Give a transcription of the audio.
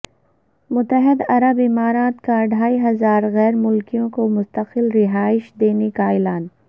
متحدہ عرب امارات کا ڈھائی ہزار غیر ملکیوں کو مستقل رہائش دینے کا اعلان